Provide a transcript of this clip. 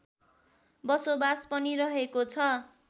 बसोबास पनि रहेको छ